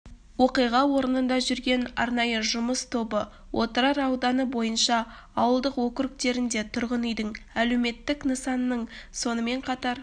оқиға орнында жүрген арнайы жұмыс тобы отырар ауданы бойынша ауылдық округтерінде тұрғын үйдің әлеуметтік нысанның сонымен қатар